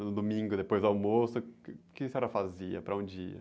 No domingo, depois do almoço, o que a senhora fazia? Para onde ia?